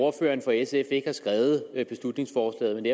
ordføreren for sf ikke har skrevet beslutningsforslaget